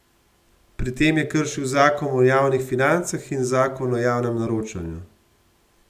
Pri tem je kršil Zakon o javnih financah in Zakon o javnem naročanju.